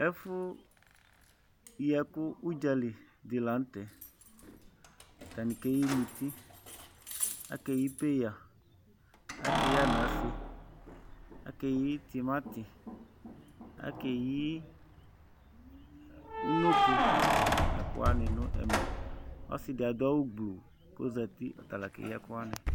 Ɛfu yi ɛku udzali di la nu tɛ̃, atani keyi muti, aka eyi peya, aka eyi ananse, aka eyi tumatí, aka eyi unoko nu ɛkuwa ni nu ɛvɛ, ɔsi di adu awu gbló ku ɔ̃zati ɔtala keyi ɛkuwa ni